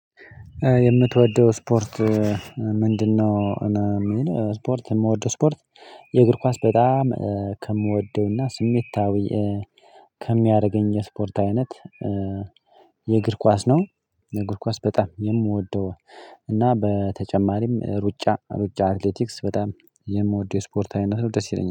የምትወደው ስፖርት ምንድነው? ነው የሚል ስፖርት የምወደው ስፖርት የእግር ኳስ በጣም ከምወደውና ስሜታዊ ከሚያደርገኝ ስፖርት አይነት የእግር ኳስ ነው የእግር ኳስ በጣም የምወደው እና በተጨማሪም ሩጫ ሩጫ አትሌቲክስ በጣም የምወደው የስፖርት አይነት ነው ደስ ይለኛል